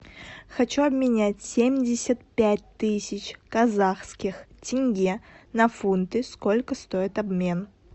хочу обменять семьдесят пять тысяч казахских тенге на фунты сколько стоит обмен